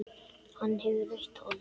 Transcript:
Hann hefur rautt hold.